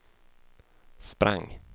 sprang